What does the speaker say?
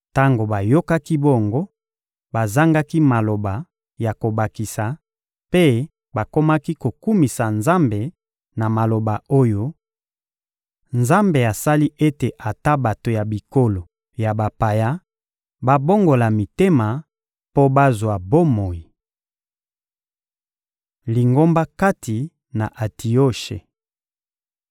Tango bayokaki bongo, bazangaki maloba ya kobakisa, mpe bakomaki kokumisa Nzambe na maloba oyo: «Nzambe asali ete ata bato ya bikolo ya bapaya babongola mitema mpo bazwa bomoi.» Lingomba kati na Antioshe